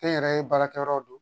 Kɛnyɛrɛye baarakɛyɔrɔ don